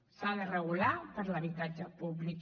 s’ha de re gular per a l’habitatge públic